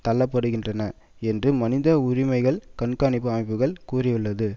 தள்ளப்படுகின்றன என்றும் மனித உரிமைகள் கண்காணிப்பு அமைப்புகள் கூறியுள்ளது